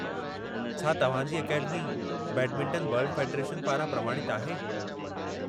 छा तव्हां जी अकेडमी बैडमिंटन वर्ल्ड फेडरेशन पारां प्रमाणितु आहे?